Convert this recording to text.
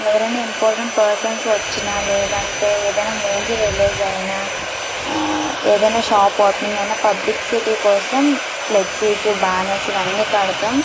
ఎవరు ఏఇన ఇమ్పోస్ట్ పెర్స్న్స్ వచ్చిన లేదా ఎవరు ఏఇన మూవీ కి వెళ్ళిన కూడా అది ఏఇన షాప్ ఆపన అఎఇనపుదు మనకు అ జి బర్డ్స్ కూడా ఉస్ చేస్తాము కూడా.